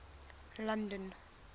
london